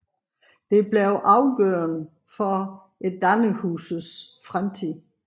Det blev afgørende for Dannerhuset fremtid